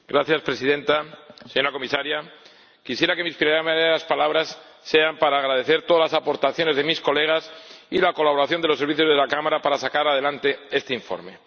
Señora Presidenta, señora Comisaria, quisiera que mis primeras palabras sean para agradecer todas las aportaciones de mis colegas y la colaboración de los servicios de la Cámara para sacar adelante este informe.